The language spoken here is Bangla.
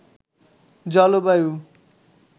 জলবায়ু